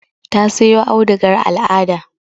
Ta sayo audugar al'ada.